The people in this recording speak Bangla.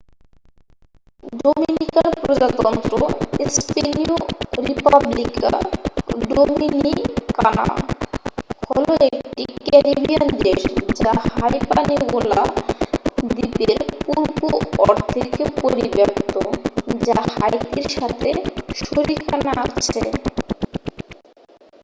ডোমিনিকান প্রজাতন্ত্র স্পেনিয়ঃ রিপাব্লিকা ডোমিনিকানা হল একটি ক্যারিবিয়ান দেশ যা হাইপানিওলা দ্বীপের পূর্ব অর্ধেকে পরিব্যাপ্ত যা হাইতির সাথে শরিকানা আছে